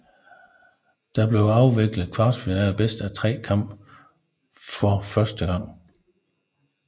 Der blev afviklet kvartfinaler bedst af tre kampe for første gang